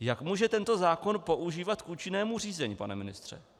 Jak může tento zákon používat k účinnému řízení, pane ministře?